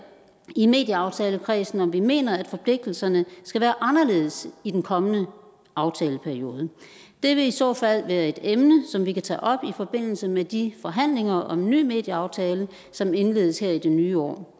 i medieaftalekredsen om vi mener at forpligtelserne skal være anderledes i den kommende aftaleperiode det vil i så fald være et emne som vi kan tage op i forbindelse med de forhandlinger om en ny medieaftale som indledes her i det nye år